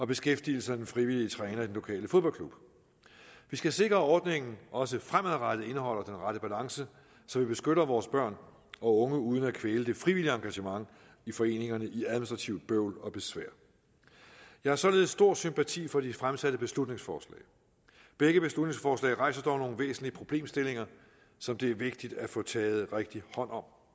beskæftigelsen af den frivillige træner i den lokale fodboldklub vi skal sikre at ordningen også fremadrettet indeholder den rette balance så vi beskytter vores børn og unge uden at kvæle det frivillige engagement i foreningerne i administrativt bøvl og besvær jeg har således stor sympati for de fremsatte beslutningsforslag begge beslutningsforslag rejser dog nogle væsentlige problemstillinger som det er vigtigt at få taget rigtigt hånd om